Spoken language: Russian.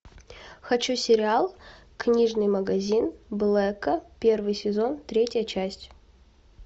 хочу сериал книжный магазин блэка первый сезон третья часть